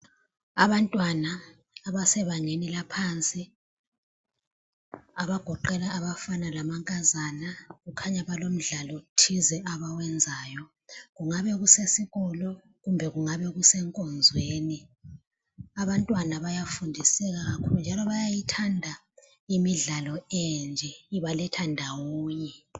Abantwana abasebangeni laphansi, abagoqela abafana lamankazana kukhanya balomdlalo thize abawenzayo. Kungabasesikolo kumbe kungabakusenkonzweni. Abantwana bayafundiseka kakhulu njalo bayayithanda imidlalo enje ibaletha ndawonye.